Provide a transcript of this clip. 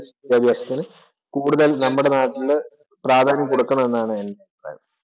ത വിദ്യാഭ്യാസത്തിനുകൂടുതല്‍ നമ്മുടെ നാട്ടില് പ്രാധാന്യം കൊടുക്കണം എന്നാണ് എന്‍റെ അഭിപ്രായം.